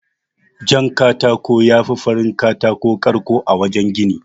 Jan katako yafi farin katako ƙarko a wajan gini.